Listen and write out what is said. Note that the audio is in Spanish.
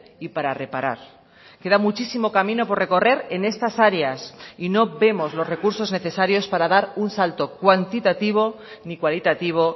y para reparar queda muchísimo camino por recorrer en estas áreas y no vemos los recursos necesarios para dar un salto cuantitativo ni cualitativo